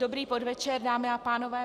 Dobrý podvečer, dámy a pánové.